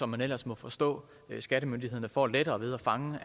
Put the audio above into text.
man ellers må forstå at skattemyndighederne får lettere ved at fange